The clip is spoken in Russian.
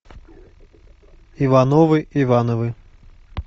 ивановы ивановы